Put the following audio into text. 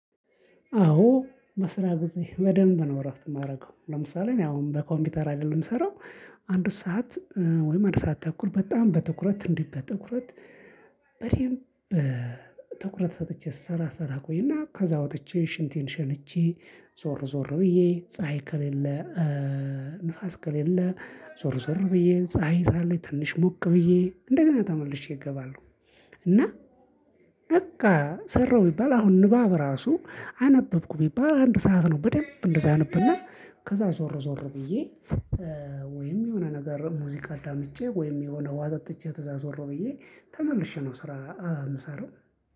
አዎ በስራ ጊዜ በደንብ ነው እረፍት እማደርገው ለምሳሌ እኔ አሁን በኮምፒውተር አይደለም እምሰራው። አንድ ሰዓት ወይም አንድ ሰዓት ተኩል በጣም በትኩረት እንዲህ በትኩረት በደንብ ትኩረት ሰጥቼ ስሰራ ስሰራ እቆይና ከዛ ወጥቼ ሽንቴን ሸንቼ ዞር ዞር ብዬ ፀሀይ ከሌለ ንፋስ ከሌለ ዞር ዞር ብዬ ፀሀይ ካለች ትንሽ ሞቅ ብዬ እንደገና ተመልሼ እገባለሁ። እና በቃ ሰራሁ ቢባል አሁን ንባብ ራሱ አነበብኩ ቢባል አንድ ሰዓት ነው በደንብ እንደዛ አነብና ከዛ ዞር ዞር ብዬ። ወይም የሆነ ነገር ሙዚቃ አዳምጬ ወይም የሆነ ውሃ ጠጥቼ ተዛ ዘወር ብዬ ተመልሼ ነው። ስራ እምሰራው